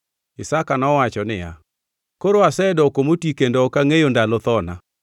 Isaka nowacho niya, “Koro asedoko moti kendo ok angʼeyo ndalo thona.